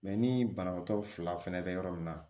Mɛ ni banabaatɔ fila fɛnɛ bɛ yɔrɔ min na